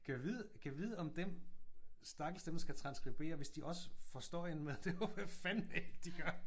Gad vide gad vide om den stakkels dem der skal transskribere hvis de også får støjen med? Det håber jeg fandeme ikke de gør